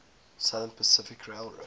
southern pacific railroad